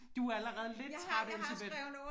Du allerede lidt træt Elsebeth